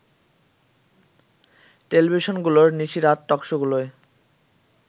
টেলিভিশনগুলোর নিশিরাত টকশোগুলোয়